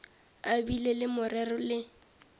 a bile le morero le